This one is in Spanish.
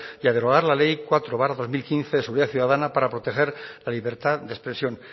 y a derogar la ley cuatro barra dos mil quince de seguridad ciudadana para proteger la libertad de expresión